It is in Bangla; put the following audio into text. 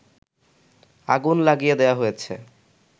আগুন লাগিয়ে দেয়া হয়েছে